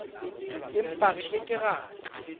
empa re ke ke ra